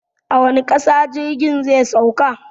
A wace ƙasa jirgin zai sauka?